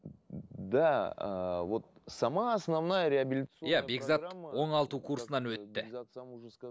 да э вот сама основная иә бекзат оңылту курсынан өтті